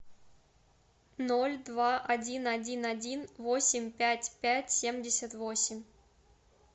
ноль два один один один восемь пять пять семьдесят восемь